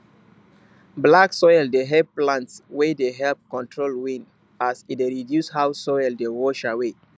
black soil dey help plants wey dey help control wind as e dey reduce how soil dey wash away